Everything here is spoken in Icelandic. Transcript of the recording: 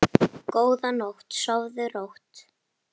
Góða nótt, sofðu rótt.